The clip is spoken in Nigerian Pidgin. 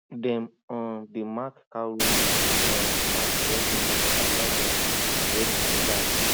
dem um dey mark cow road with um ash every month after dem rest di land